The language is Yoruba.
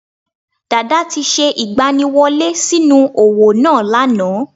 Dàdá ti se ìgbaniwọlé sí nú òwò náà lánàá